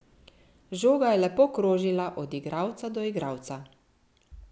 Žoga je lepo krožila od igralca do igralca.